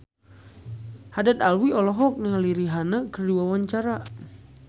Haddad Alwi olohok ningali Rihanna keur diwawancara